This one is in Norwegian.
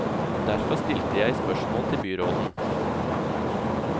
Derfor stilte jeg spørsmål til byråden.